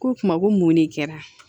Ko o kuma ko mun de kɛra